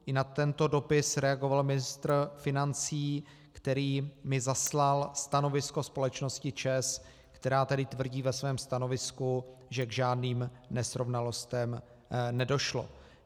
I na tento dopis reagoval ministr financí, který mi zaslal stanovisko společnosti ČEZ, která tedy tvrdí ve svém stanovisku, že k žádným nesrovnalostem nedošlo.